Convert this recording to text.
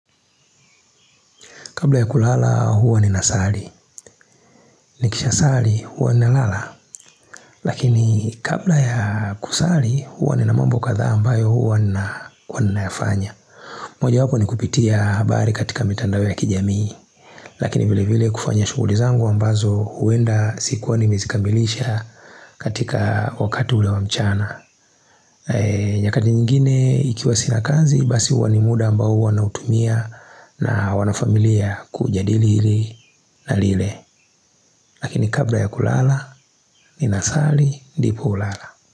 Kabla ya kulala huwa nina sali. Nikisha sali huwa nina lala. Lakini kabla ya kusali huwa nina mambo kadhaa ambayo huwa ninayafanya. Moja wapo ni kupitia habari katika mitandao ya kijamii. Lakini vile vile kufanya shuguli zangu ambazo huenda sikuwa ni mezikamilisha katika wakati ule wa mchana. Nyakati nyingine ikiwa sina kazi basi huwa ni muda ambao huwa na utumia na wana familia kujadili hili na lile. Lakini kabla ya kulala, ni nasali ndipo hulala.